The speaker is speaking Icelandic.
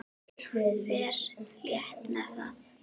Ég fer létt með það.